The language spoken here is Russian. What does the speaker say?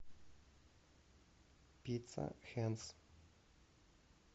пицца хэнс